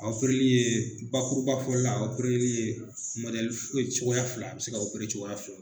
A ye bakuruba fɔ la, a ye cogoya fila a be se ka cogoya fila.